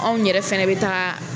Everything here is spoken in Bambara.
Anw yɛrɛ fana bɛ taa